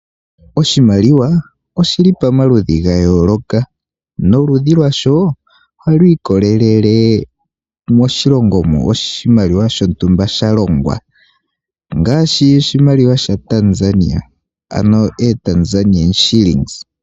Oshimaliwa oshili pamaludhi ga yooloka, noludhi lwasho ohalu ikolelele moshilongo moka oshimaliwa shontumba sha longwa, ngaashi oshimaliwa sha Tanzania, ano ooTanzania shillings.